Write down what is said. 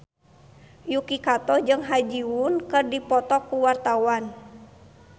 Yuki Kato jeung Ha Ji Won keur dipoto ku wartawan